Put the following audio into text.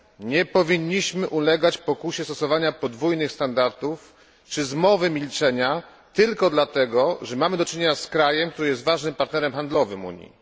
Nie powinniśmy ulegać pokusie stosowania podwójnych standardów czy zmowy milczenia, tylko dlatego, że mamy do czynienia z krajem, który jest ważnym partnerem handlowym Unii.